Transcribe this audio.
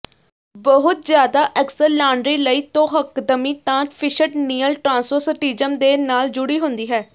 ਬਹੁਤ ਜ਼ਿਆਦਾ ਅਕਸਰ ਲਾਂਡਰੀ ਲਈ ਤੌਹਕਦਮੀ ਤਾਂ ਫਿਸ਼ਟਨੀਅਲ ਟ੍ਰਾਂਸੋਸਟਿਜ਼ਮ ਦੇ ਨਾਲ ਜੁੜੀ ਹੁੰਦੀ ਹੈ